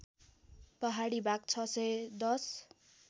पहाडी भाग ६१०